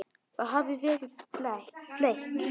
Þið hafið verið blekkt.